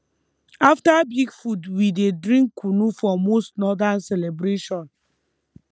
after big food we dey drink kunu for most northern celebration